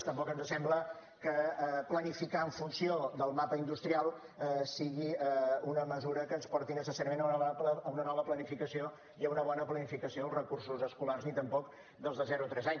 tampoc ens sembla que planificar en funció del mapa industrial sigui una mesura que ens porti necessàriament a una nova planificació i a una bona planificació dels recursos escolars ni tampoc dels de zero a tres anys